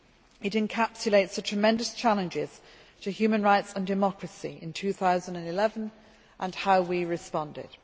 It encapsulates the tremendous challenges to human rights and democracy in 2011, and how we responded.